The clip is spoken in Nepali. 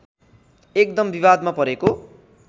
एकदम विवादमा परेको